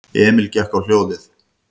Emil gekk á hljóðið.